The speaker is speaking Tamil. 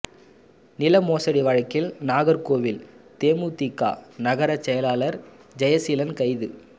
நில மோசடி வழக்கில் நாகர்கோவில் தேமுதிக நகர செயலாளர் ஜெயசீலன் கைது